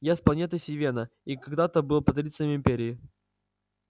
я с планеты сивенна и когда-то был патрицием империи